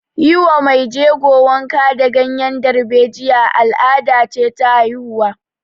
Yi wa mai jego wanka da ganyen darbejiya al'ada ce ta haihuwa